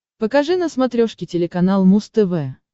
покажи на смотрешке телеканал муз тв